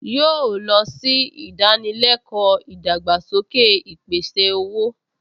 Yóò lọ sí ìdánilẹ́kọ̀ọ́ ìdàgbàsókè ìpèsè-owó